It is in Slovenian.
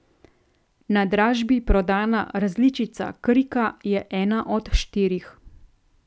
Na dražbi prodana različica Krika je ena od štirih.